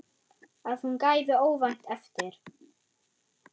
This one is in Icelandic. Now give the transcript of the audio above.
Að hún gefi óvænt eftir.